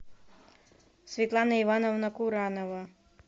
светлана ивановна куранова